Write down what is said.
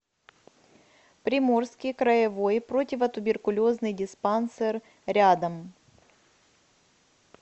приморский краевой противотуберкулезный диспансер рядом